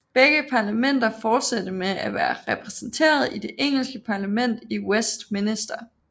Begge parlamenter fortsatte med at være repræsenteret i det engelske parlament i Westminster